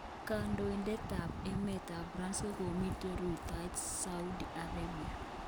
Kandoitet ap emet ap france ngomiten rutaet Saudi Arabia